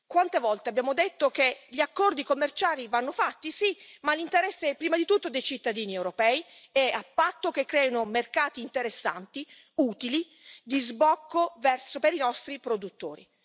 Quante volte abbiamo detto che gli accordi commerciali vanno fatti, sì, ma nell'interesse, prima di tutto, dei cittadini europei e a patto che creino mercati interessanti, utili, di sbocco per i nostri produttori?